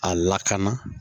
A lakana